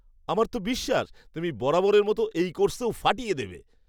আমার তো বিশ্বাস, তুমি বরাবরের মতোই এই কোর্সেও ফাটিয়ে দেবে।